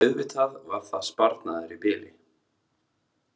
Auðvitað var það sparnaður í bili.